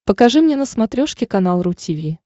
покажи мне на смотрешке канал ру ти ви